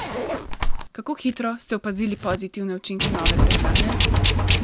Kako hitro ste opazili pozitivne učinke nove prehrane?